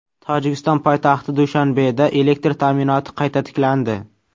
Tojikiston poytaxti Dushanbeda elektr ta’minoti qayta tiklandi.